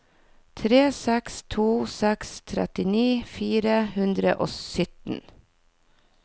tre seks to seks trettini fire hundre og sytten